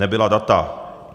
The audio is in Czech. Nebyla data.